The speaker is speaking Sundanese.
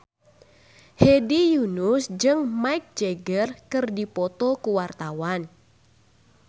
Hedi Yunus jeung Mick Jagger keur dipoto ku wartawan